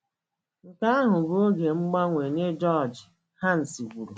Nke ahụ bụ oge mgbanwe nye George ,Hans kwuru.